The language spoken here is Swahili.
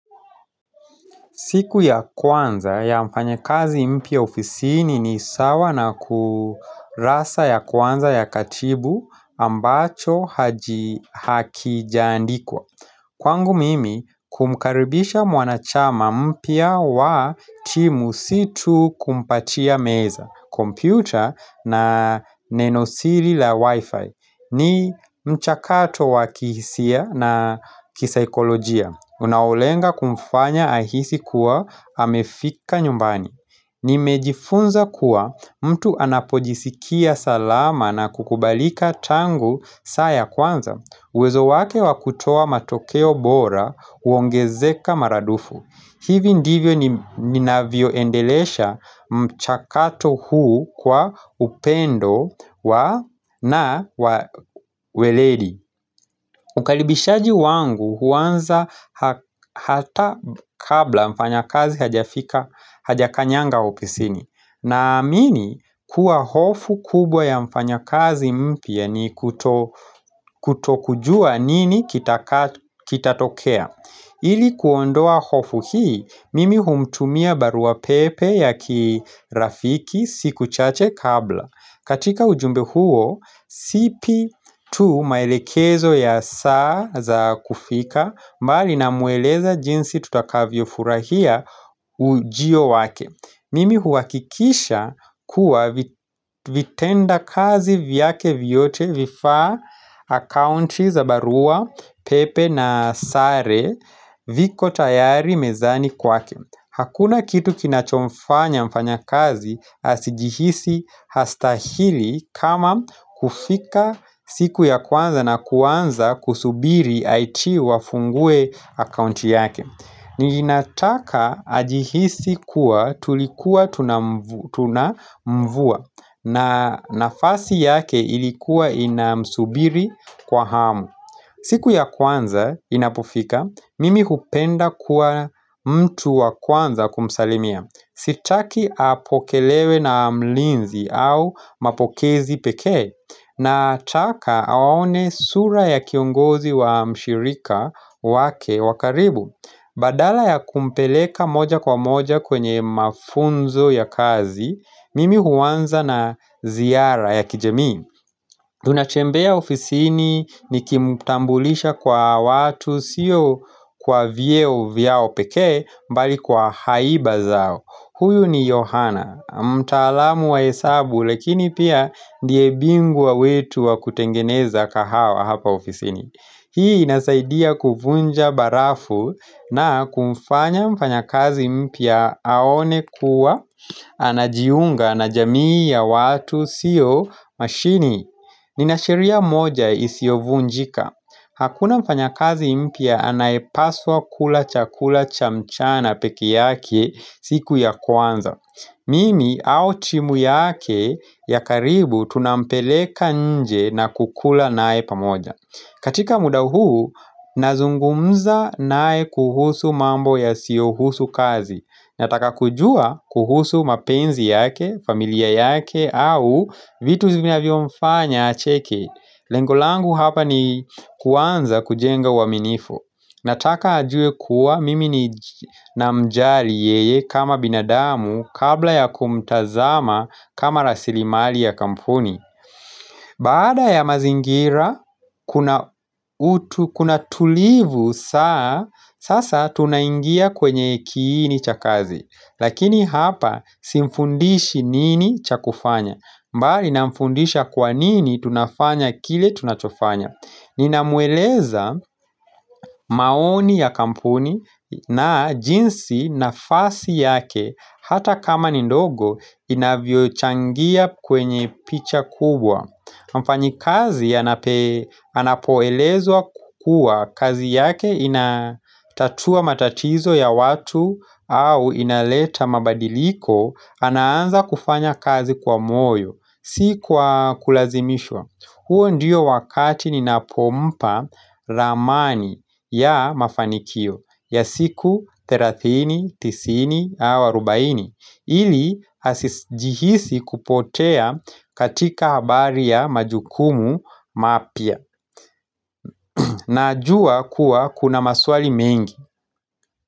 Siku ya kwanza ya mfanya kazi mpia ofisini ni sawa na kurasa ya kwanza ya katibu ambacho haji hakijandikwa. Kwangu mimi kumkaribisha mwanachama mpia wa timu si tu kumpatia meza, kompyuta na nenosiri la wifi ni mchakato wa kihisia na kisaikolojia. Unaolenga kumfanya ahisi kuwa hamefika nyumbani Nimejifunza kuwa mtu anapojisikia salama na kukubalika tangu saya kwanza uwezo wake wakutoa matokeo bora uongezeka maradufu hivi ndivyo ninavio endelesha mchakato huu kwa upendo na weledi Ukalibishaji wangu huanza hata kabla mfanya kazi hajakanyanga opisini Naamini kuwa hofu kubwa ya mfanya kazi mpia ni kutokujua nini kitatokea Ili kuondoa hofu hii mimi humtumia barua pepe ya kirafiki siku chache kabla katika ujumbe huo, sipi tu maelekezo ya saa za kufika mbali na mueleza jinsi tutakavyo furahia ujiyo wake. Mimi huwakikisha kuwa vitenda kazi vyake vyote vifa account za barua, pepe na sare viko tayari mezani kwake. Hakuna kitu kinachomfanya mfanya kazi asijihisi hastahili kama kufika siku ya kwanza na kwanza kusubiri IT wafungue account yake ninataka ajihisi kuwa tulikuwa tunamvua na nafasi yake ilikuwa inamsubiri kwa hamu siku ya kwanza inapofika, mimi hupenda kuwa mtu wa kwanza kumsalimia Sitaki apokelewe na mlinzi au mapokezi peke nataka awaone sura ya kiongozi wa mshirika wake wakaribu Badala ya kumpeleka moja kwa moja kwenye mafunzo ya kazi Mimi huwanza na ziara ya kijemi Tunatembea ofisini nikimutambulisha kwa watu sio kwa vieo vyao peke mbali kwa haiba zao Huyu ni Johanna mtaalamu wa hesabu lekini pia ndie bingwa wetu wa kutengeneza kahawa hapa ofisini Hii inasaidia kufunja barafu na kumfanya mfanya kazi mpia aone kuwa anajiunga na jamii ya watu sio mashini Ninasheria moja isiovunjika Hakuna mfanya kazi impia anayepaswa kula chakula cha mchana peke yake siku ya kwanza Mimi au timu yake ya karibu tunampeleka nje na kukula nae pamoja katika muda huu nazungumza nae kuhusu mambo yasiyohusu kazi Nataka kujua kuhusu mapenzi yake, familia yake au vitu zinavio mfanya acheki Lengo langu hapa ni kuanza kujenga waminifu Nataka ajue kuwa mimi ni namjali yeye kama binadamu kabla ya kumtazama kama rasilimali ya kampuni Bada ya mazingira kuna tulivu saa, sasa tuna ingia kwenye kini chakazi Lakini hapa simfundishi nini chakufanya mbali namfundisha kwa nini tunafanya kile tunachofanya Ninamueleza maoni ya kampuni na jinsi nafasi yake Hata kama ni ndogo inavyochangia kwenye picha kubwa Mfanyi kazi anapoelezwa kukua kazi yake inatatua matatizo ya watu au inaleta mabadiliko anaanza kufanya kazi kwa moyo si kwa kulazimishwa huo ndiyo wakati ni napompa ramani ya mafanikio ya siku 30, 90, 40 ili hasijihisi kupotea katika habari ya majukumu mapia na ajua kuwa kuna maswali mengi.